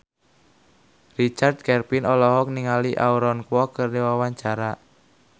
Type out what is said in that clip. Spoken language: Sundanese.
Richard Kevin olohok ningali Aaron Kwok keur diwawancara